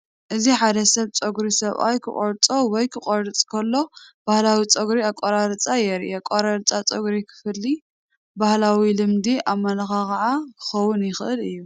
እዚ ሓደ ሰብ ፀጉሩ ሰብኣይ ኪቘርፆ ወይ ኪቘርፅ ከሎ ባህላዊ ጸጕሪ አቆራርፃ የርኢ። አቆራርፃ ፀጉሪ ክፍሊ ባህላዊ ልምዲ ኣመለኻኽዓ ክኸውን ይኽእል እዩ።